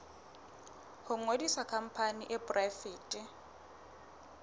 ho ngodisa khampani e poraefete